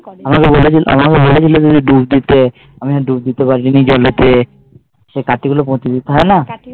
আমাকে বলেছিলো দুধ দিতে আমি দুধ দিতে পারিনি জলেতে সেই কাজ গুলো করতে হয় না